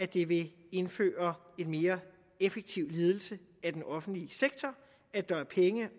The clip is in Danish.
det vil indføre en mere effektiv ledelse af den offentlige sektor at der er penge